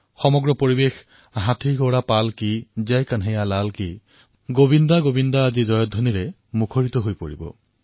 সম্পূৰ্ণ বাতাৱৰণ হাতী ঘোঁৰা পাল্কী জয় কানায়ালাল কী গোবিন্দা গোবিন্দাৰ জয়গীতেৰে উচ্চাৰিত হব